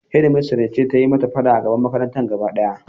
Shedmistres ce ta yi mata fada a gaban makarantar gaba daya.